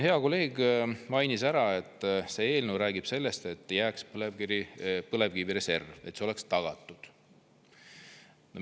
Hea kolleeg mainis ära, et see eelnõu räägib sellest, et jääks põlevkivireserv, et see oleks tagatud.